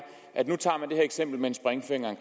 at nu tager man det her eksempel med en springfinger